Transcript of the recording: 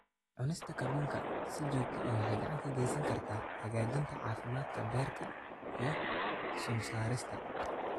Cunista kalluunka si joogto ah waxay gacan ka geysan kartaa hagaajinta caafimaadka beerka iyo sun-saarista.